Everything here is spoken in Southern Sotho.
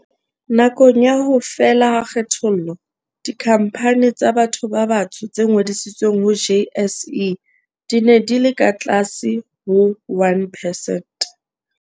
Nakong ya ho fela ha kgethollo, dikhampani tsa batho ba batsho tse ngodisitsweng ho JSE di ne di le ka tlase ho 1 percent.